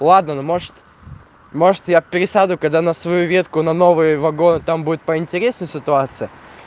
ладно ну может может я пересяду когда на свою ветку на новый вагон там будет поинтереснее ситуация